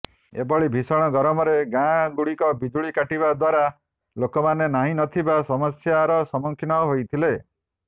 ଏଭଳି ଭୀଷଣ ଗରମରେ ଗାଁ ଗୁଡିକର ବିଜୁଳି କାଟିବା ଦ୍ୱାରା ଲୋକମାନେ ନାହିଁ ନଥିବା ସମସ୍ୟାର ସମ୍ମୁଖୀନ ହୋଇଥିଲେ